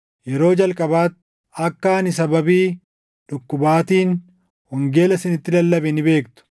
Yeroo jalqabaatti akka ani sababii dhukkubaatiin wangeela isinitti lallabe ni beektu;